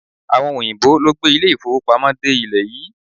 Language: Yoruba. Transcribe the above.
Àwọn òyìnbó ló gbé ilé-ìfówopamọ́ dé ilẹ̀ yìí.